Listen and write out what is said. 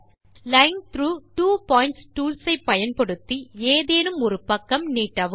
line track two point tools ஐ பயன்படுத்தி ஏதேனும் ஒருபக்கம் நீட்டவும்